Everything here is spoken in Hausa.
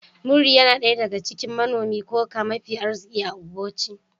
Muri yana daya daga cikin manomin Cocoa mafi arziki a Ogboche